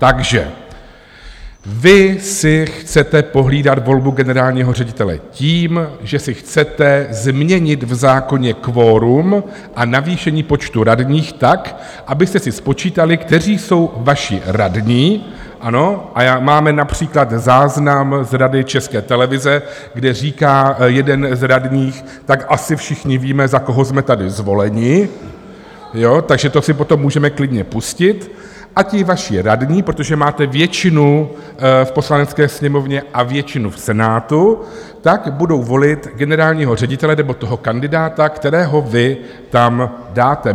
Takže vy si chcete pohlídat volbu generálního ředitele tím, že si chcete změnit v zákoně kvorum a navýšení počtu radních tak, abyste si spočítali, kteří jsou vaši radní, ano, a máme například záznam z Rady České televize, kde říká jeden z radních "tak asi všichni víme, za koho jsme tady zvoleni", takže to si potom můžeme klidně pustit, a ti vaši radní, protože máte většinu v Poslanecké sněmovně a většinu v Senátu, tak budou volit generálního ředitele nebo toho kandidáta, kterého vy tam dáte.